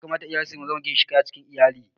Ya kamata iyaye su zama ginshiƙai a cikin iyali